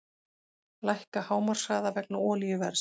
Lækka hámarkshraða vegna olíuverðs